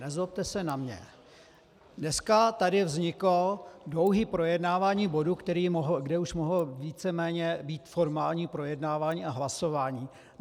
Nezlobte se na mě, dneska tady vzniklo dlouhé projednávání bodu, kde už mohlo víceméně být formální projednávání a hlasování.